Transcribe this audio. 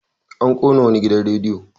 An ƙona wani gidan radiyo.